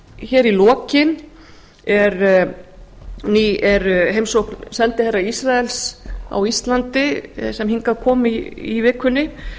hér í lokin er heimsókn sendiherra ísraels á íslandi sem hingað kom í vikunni